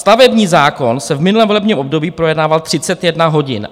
Stavební zákon se v minulém volebním období projednával 31 hodin.